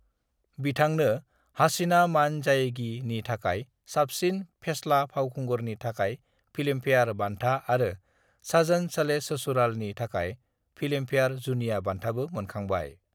बिथांनो 'हसीना मान जाएगी' नि थाखाय साबसिन फेस्ला फावखुंगुरनि थाखाय फिल्मफेयार बान्था आरो 'साजन चले ससुराल' नि थाखाय फिल्मपेयार जुनिया बान्थाबो मोनखांबाय।